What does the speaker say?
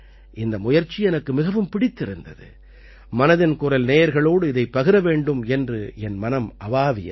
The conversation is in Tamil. இந்த முயற்சி எனக்கு மிகவும் பிடித்திருந்தது மனதின் குரல் நேயர்களோடு இதைப் பகிர வேண்டும் என்று என் மனம் அவாவியது